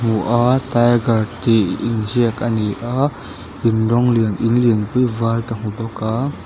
hmu a tiger tih inziak a ni a in rawng lian in lianpui var ka hmu bawk a.